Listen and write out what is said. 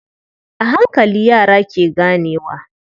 A hankali, yara ke ganewa.